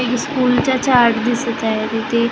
एक स्कूलचा चार्ट दिसत आहे तिथे अ --